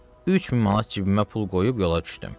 3000 manat cibimə pul qoyub yola düşdüm.